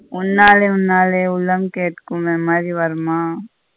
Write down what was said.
உன்னாலே உன்னாலே உள்ளம் கேக்கும்னு மாதிரி வருமா.